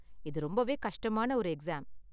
இது ரொம்பவே கஷ்டமான ஒரு எக்ஸாம்.